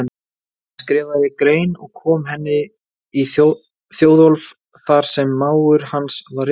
Hann skrifaði grein og kom henni í Þjóðólf þar sem mágur hans var ritstjóri.